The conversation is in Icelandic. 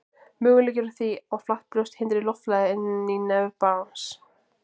möguleiki er á því að flatt brjóst hindri loftflæði inn í nef barns